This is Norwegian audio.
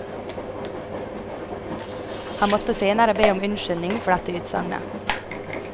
Han måtte senere be om unnskyldning for dette utsagnet.